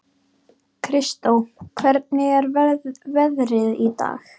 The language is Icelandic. Kristó, hvernig er veðrið í dag?